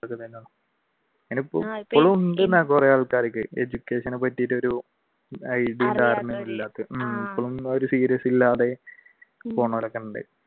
കുറെ ആൾക്കാർക്ക് education നെ പറ്റിയിട്ട് ഒരു അറിയാത്തവർ ഇപ്പഴും ഒരു serious ഇല്ലാതെ പോകുന്നവരൊക്കെയുണ്ട്